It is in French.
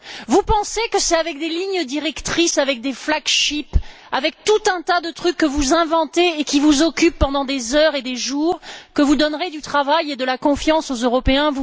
Vous pensez que c'est avec des lignes directrices, avec des flagships, avec tout un tas de trucs que vous inventez et qui vous occupent pendant des heures et des jours que vous donnerez du travail et de la confiance aux Européens?